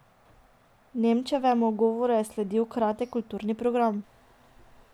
Nemčevemu govoru je sledil kratek kulturni program.